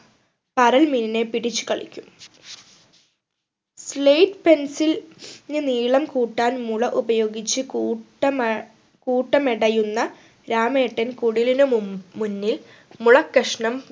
പരൽ മീനിനെ പിടിച്ചു കളിക്കും slate pencil ന് നീളം കൂട്ടാൻ മുള ഉപയോഗിച്ച് കൂട്ട മെ ഏർ കൂട്ടമടയുന്ന രാമേട്ടൻ കുടിലിന് മു മുന്നിൽ മുളക്കഷ്ണം